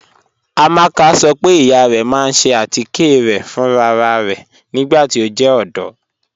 Amaka sọ pe iya rẹ ma n ṣe atikẹ rẹ fún ráràrá nigbati o jẹ ọdọ.